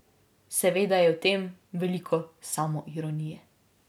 Seveda je v tem veliko samoironije.